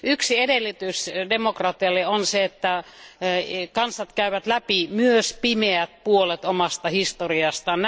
Yksi edellytys demokratialle on se, että kansat käyvät läpi myös pimeät puolet omasta historiastaan.